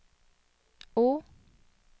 O